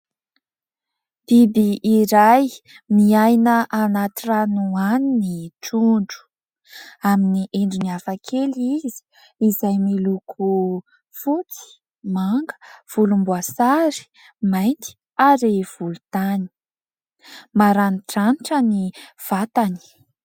Biby iray miaina anaty rano any ny tondro, amin'ny endriny hafakely izy izay miloko fotsy, manga, volomboasary, mainty ary volontany ; maranidranitra ny vatany.